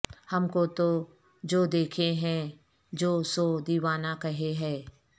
ہم کو تو جو دیکھے ہے جو سو دیوانہ کہے ہے